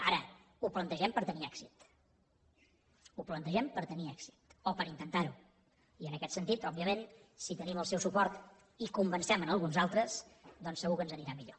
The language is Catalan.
ara ho plantegem per tenir èxit ho plantegem per tenir èxit o per intentar ho i en aquest sentit òbviament si tenim el seu suport i en convencem alguns altres doncs segur que ens anirà millor